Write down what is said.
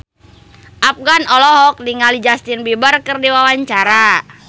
Afgan olohok ningali Justin Beiber keur diwawancara